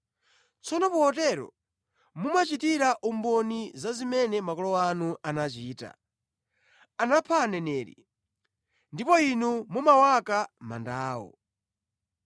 Tsono potero mumachitira umboni za zimene makolo anu anachita. Anapha aneneri, ndipo inu mumawaka manda awo.